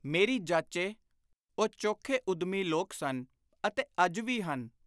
ਮੇਰੀ ਜਾਚੇ ਉਹ ਚੋਖੇ ਉੱਦਮੀ ਲੋਕ ਸਨ ਅਤੇ ਅੱਜ ਵੀ ਹਨ।